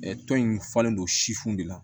tɔn in falen don sifinw de la